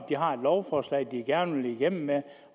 har et lovforslag som den gerne vil igennem med